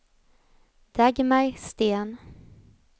Dagmar Sten